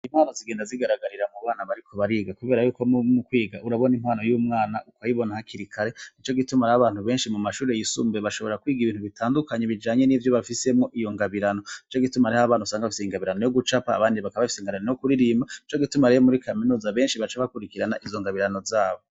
Impano zigenda zigaragarira mu bana bariko bariga, kuberako mu kwiga urabona impono y'umwana uyibona hakiri kare. Nico gituma hari abantu benshi mu mashure yisumbuye bashobora kwiga ibintu vyinshi bitandukanye bijanye nivyo bafisemwo iyo ngabirano. Nico gituma usanga hari abantu bafise ingabirano y'ugucapa, abandi ugasanga bafise ingabirano yo kuririmba nico gituma rero benshi mur kaminuza baca bakurikirana izo ngabirano zabo.